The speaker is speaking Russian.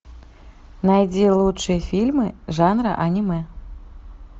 найди лучшие фильмы жанра аниме